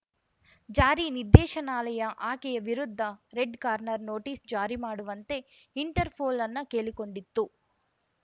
ಜಾರಿ ನಿರ್ದೇಶನಾಲಯ ಆಕೆಯ ವಿರುದ್ಧ ರೆಡ್‌ ಕಾರ್ನರ್‌ ನೋಟಿಸ್‌ ಜಾರಿ ಮಾಡುವಂತೆ ಇಂಟರ್‌ಪೋಲ್‌ ಅನ್ನ ಕೇಳಿಕೊಂಡಿತ್ತು